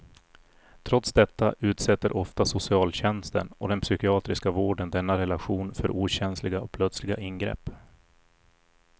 Trots detta utsätter ofta socialtjänsten och den psykiatriska vården denna relation för okänsliga och plötsliga ingrepp.